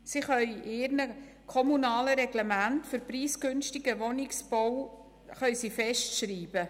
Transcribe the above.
Sie können in ihren kommunalen Reglementen preisgünstigen Wohnungsbau festschreiben.